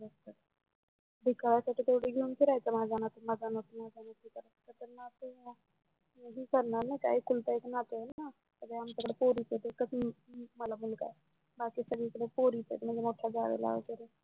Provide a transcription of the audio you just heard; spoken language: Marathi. त्याच्या पुढ घेऊन फिरायचं माझा नातू माझा नातू माझा नातू करत विचारणार ना एकुलता एक नातू ना सगळ्या आमच्याकड पोरीच आहेत ना एकच मला मुलगा आहे बाकी सगळीकड पोरीचयत मोठ्या जावेला वगेरे